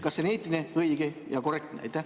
Kas see on eetiline, õige ja korrektne?